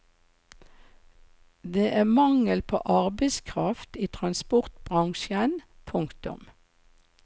Det er mangel på arbeidskraft i transportbransjen. punktum